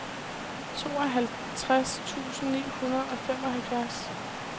tooghalvtreds tusind ni hundrede og femoghalvfjerds